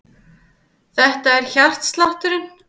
Þetta er hjartslátturinn.